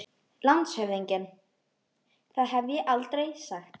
LANDSHÖFÐINGI: Það hef ég aldrei sagt.